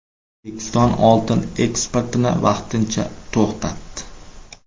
O‘zbekiston oltin eksportini vaqtincha to‘xtatdi.